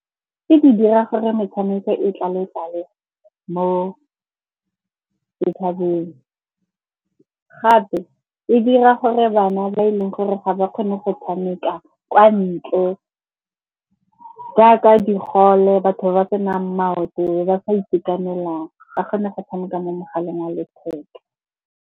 Tse di dira gore metshameko e tlale-tlale mo . Gape e dira gore bana ba e leng gore ga ba kgone go tshameka kwa ntle jaaka digole, batho ba ba senang maoto, ba sa itekanelang ba kgone go tshameka mo mogaleng wa letheka.